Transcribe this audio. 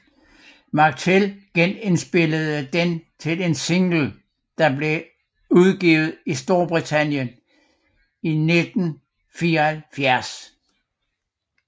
McTell genindspillede den til en single der blev udgivet i Storbritannien i 1974